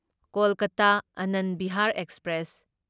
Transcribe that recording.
Kolkata Anand Vihar express